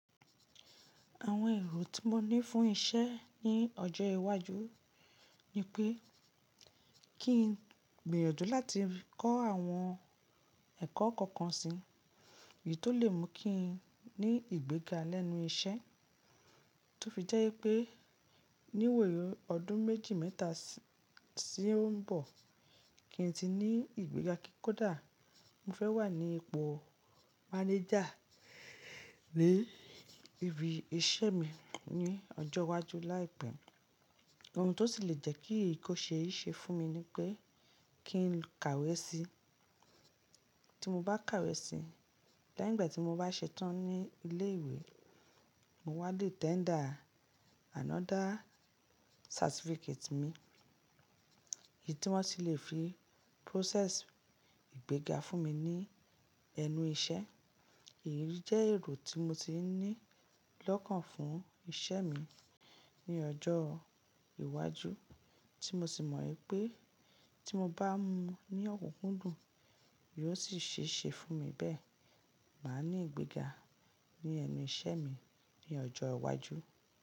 Àwọn èrò tí mo ní fún iṣẹ́ ní ọjọ́ iwájú ni pé kí n gbèrò jù láti kọ́ àwọn ẹ̀kọ́ kọ̀ọ̀kan si. Èyí tó lè mú kí n ní ìgbéga lẹ́nu iṣẹ́, tó fi jẹ́ pé níwòyí ọdún méjì mẹ́ta tí ń bọ̀ kí n tí ní ìgbéga kódà mo fẹ́ wà ní ipò mánager ní ibi iṣẹ́ mi ní ọjọ́ iwájú láìpẹ́. Ohun tó sì lè jẹ́ kí ìkóṣe yìí ṣe fún mi ni pé kí n kàwé si. Ti mo bá kàwé si, lẹ́yìn ìgbà tí mo bá ṣetán ní ilé ìwé, mo wá le tender another certificate mi, èyí tí wọ́n sì lè fi process ìgbéga fún mi ní ẹnu iṣẹ́. Èyí jẹ́ èrò tí mo ti ní lọ́kàn fún iṣẹ́ mi ní ọjọ́ iwájú, tí mo sì mọ̀ pé tí mo bá ní ọ̀kúkún dùn, yóò sì ṣe é ṣe fún mi bẹ́ẹ̀. Màá ní ìgbéga ní ẹnu iṣẹ́ mi ní ọjọ́ iwájú.